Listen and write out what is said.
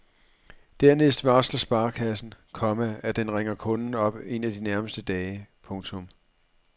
Dernæst varsler sparekassen, komma at den ringer kunden op en af de nærmeste dage. punktum